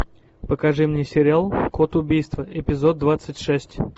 покажи мне сериал код убийства эпизод двадцать шесть